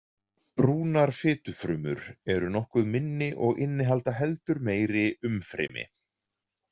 Brúnar fitufrumur eru nokkuð minni og innihalda heldur meira umfrymi.